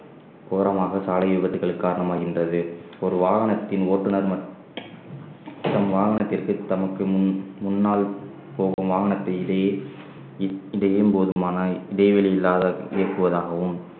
ஓரமாக சாலை விபத்துக்கள் காரணமாகின்றது ஒரு வாகனத்தின் ஓட்டுநர் மற்றும் வாகனத்திற்கு தமக்கு முன்~ முன்னால் போகும் வாகனத்தை இடையே இ~ இதையும் போதுமானால் இடைவெளி இல்லாத இயக்குவதாகவும்